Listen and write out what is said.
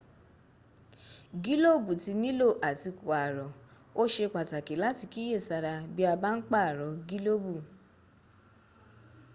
gílóòbù tí nílò à ti pààrọ̀. o sé pàtàkì láti kíyè sára bí a bá ń pààrọ̀ gílòbù